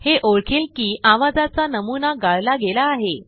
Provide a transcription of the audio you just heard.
हे ओळखेल कि आवाजाचा नमुना गाळला गेला आहे